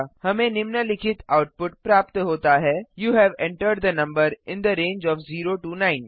हमें निम्नलिखित आउटपुट प्राप्त होता है you have entered the number in the range of 0 9